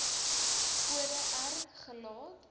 kode r gelaat